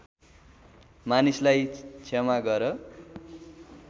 मानिसलाई क्षमा गर